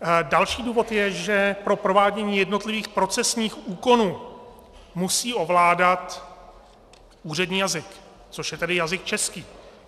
Další důvod je, že pro provádění jednotlivých procesních úkonů musí ovládat úřední jazyk, což je tedy jazyk český.